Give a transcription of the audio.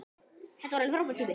Þetta var alveg frábær tími.